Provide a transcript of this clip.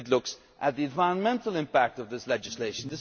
It looks at the environmental impact of this legislation.